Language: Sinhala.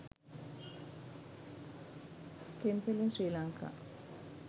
temple in sri lanka